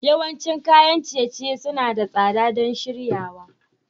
Yawancin kayan ciye-ciye suna da tsada don shiryawa.